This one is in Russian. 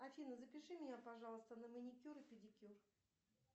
афина запиши меня пожалуйста на маникюр и педикюр